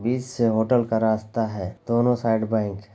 बीच से होटल का रास्ता है दोनों साइड बैंक है।